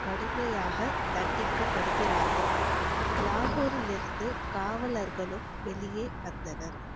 கடுமையாக தண்டிக்கபடுகிறார்கள் லாகூரிலிருந்து காவலர்களும் வெளியே வந்தனர்